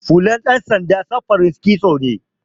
Hular ɗan sanda samfurin kitso ne.